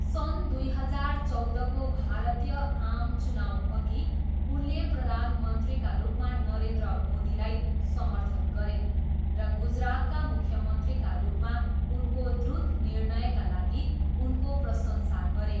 सन् दुई हजार चौधको भारतीय आम चुनाउअघि उनले प्रधानमन्त्रीका रूपमा नरेन्द्र मोदीलाई समर्थन गरे र गुजरातका मुख्यमन्त्रीका रूपमा उनको द्रुत निर्णयका लागि उनको प्रशंसा गरे।